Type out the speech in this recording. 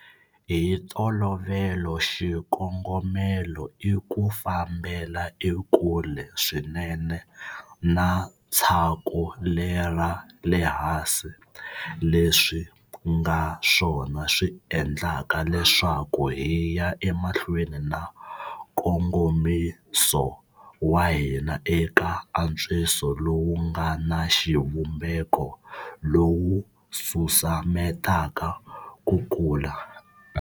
Hi ntolovelo, xikongomelo i ku fambela ekule swinene na tshaku lera le hansi, leswi ku nga swona swi endlaka leswaku hi ya emahlweni na nkongomiso wa hina eka antswiso lowu nga na xivumbeko lowu wu susumetaka ku kula.